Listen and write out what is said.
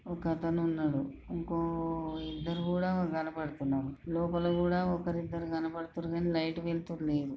ఒక అతను ఉన్నాడు ఇంకో కొ ఇద్దరు కూడా కన్నపడుతున్నారు లోపల కూడా ఒక్కరూ ఇద్దరు కనపడుతురి కాని లైట్ వెల్తురు లేదు.